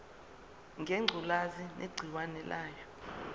ngengculazi negciwane layo